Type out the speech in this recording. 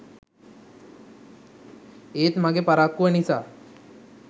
ඒත් මගේ පරක්කුව නිසා